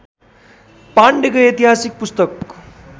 पाण्डेको ऐतिहासिक पुस्तक